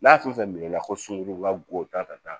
N'a fɛn fɛn minɛ ko sunugurun ka go ta ka taa